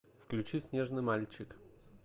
включи снежный мальчик